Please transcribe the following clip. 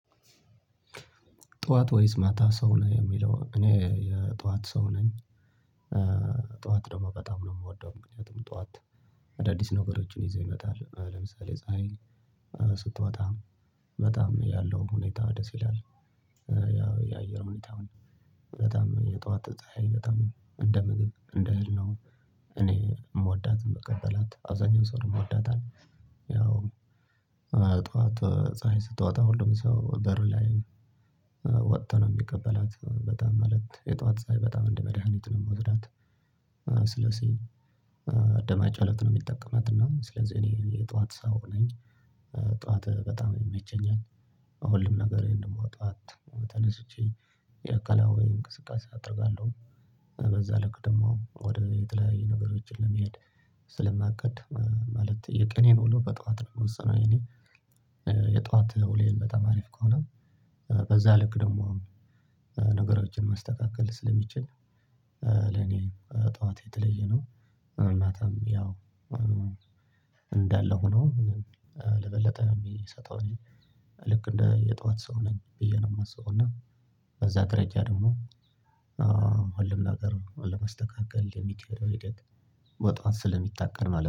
ጠዋት ወይስ ማታ ሰው ነህ የሚለው? እኔ የጠዋት ሰው ነኝ። ጠዋት ደግሞ በጣም ነው የምወደው ምክንያቱም ጠዋት። አዳዲስ ነገሮችን ይዘው ይመጣል ለምሳሌ ፀሀይ ስትወጣ በጣም ያለው ሁኔታ ደስ ይላል። ያው የአየር ሁኔታ በጣም የጧት ጠሃይ በጣም እንደ ምግብ እንደ እህል ነው። እኔ የምወዳት ምቀበላት አብዛኛው ሰው ይወዳታል። ያው ጠዋት ፀሀይ ስትወጣ ሁሉም ሰው በር ላይ ወቶ ነው የሚቀበላት በጣም ማለት የጧት ጽሀይ በጣም እንደ መድሃኒት ነው የምወስዳት። ስለዚህ ደማችን እለት ነው የሚጠቀማት እና ስለዚህ እኔ የጠዋት ሰው ነኝ። ጠዋት በጣም ይመቸኛል። ሁሉም ነገር ደግሞ ጠዋት ተነስቼ ያኣካላዊ እንቅስቃሴ አደርጋለሁ። በዛ ልክ ደግሞ ወደ የተለያዩ ነገሮች ለመሄድ ስለማቅድ ማለት የቅኔን ውሎ በጧት ነው የምወስነው። የኔ የጧት ነውውሌ በጣም አሪፍ ከሆነ በዛ ልክ ደግሞ ነገሮችን ማስተካከል ስለሚችል ለኔ ጠዋት የተለየ ነው። ማታም ያው እንዳለ ሆኖ ለበለጠ ነው የሚሰጠው። ልክ እንደ የጧት ሰው ነኝ ብዬ ነው የማስበው እና በዛ ደረጃ ደግሞ ሁሉም ነገር ለመስተካከል የሚችለው ሂደት በጧት ስለሚታቀድ ማለት ነው